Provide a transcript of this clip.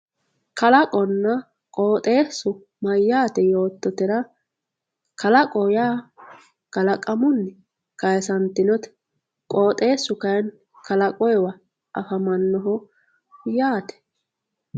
kalaqonna qoxeessu mayyaate yoottotera kalaqoho yaa kalaqamunni kaasantinote qoxeessu kayeenni kalaqamuyiiwa afamannoho yaate